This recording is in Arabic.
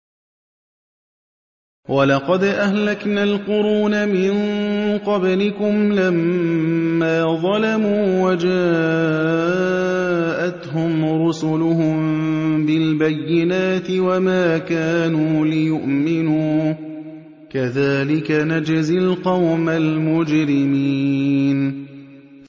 وَلَقَدْ أَهْلَكْنَا الْقُرُونَ مِن قَبْلِكُمْ لَمَّا ظَلَمُوا ۙ وَجَاءَتْهُمْ رُسُلُهُم بِالْبَيِّنَاتِ وَمَا كَانُوا لِيُؤْمِنُوا ۚ كَذَٰلِكَ نَجْزِي الْقَوْمَ الْمُجْرِمِينَ